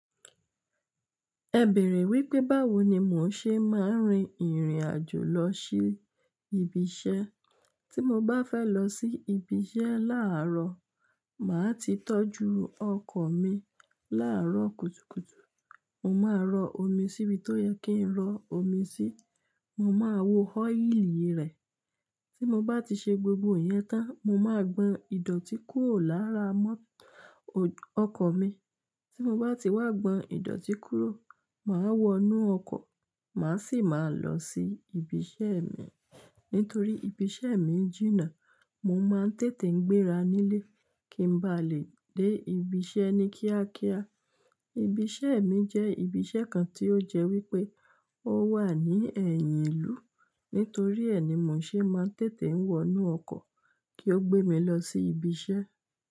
Ẹ bèèrè wípé báwo ni mò ń ṣe máa ń rin ìrìn àjò lọ sí ibi iṣẹ́. Tí mo bá fẹ́ lọ sí ibi iṣẹ́ láàárọ̀, màá ti tọ́jú ọkọ̀ mi láàárọ̀ kùtùkùtù. Mo máa rọ omi síbi tó yẹ kí n rọ omi sí, mo máa wo ọ́íìlì rẹ̀. Tí mo bá ti ṣe gbogbo ìyẹn tán, mo máa gbọn ìdọ̀tí kúrò lára mọ́-- ọkọ̀ mi. Tí mo bá ti wá gbọ̀n ìdọ̀tí kúrò, màá wọ inú ọkọ̀, màá sì máa lọ sí ibi iṣẹ́ mi. Nítorí ibi iṣẹ́ mi jìnnà, mo máa ń tètè ń gbéra nílé kí n ba lè dé ibi iṣẹ́ ní kíákíá. Ibi iṣẹ́ mi jẹ́ ibi iṣẹ́ kan tí ó jẹ́ wípé ó wà ní ẹ̀yìn ìlú. Nítorí ẹ ni mò ń ṣe máa ń tètè ń wọ inú ọkọ̀ kí ó gbé mi lọ sí ibi iṣẹ́.